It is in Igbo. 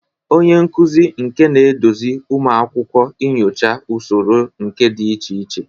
Onye nkuzi nka na-eduzi ụmụ akwụkwọ inyocha usoro nka dị iche iche.